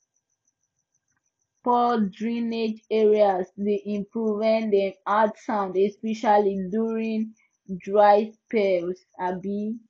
poor drainage areas dey improve when dem add sand especially during dry spells um